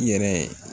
I yɛrɛ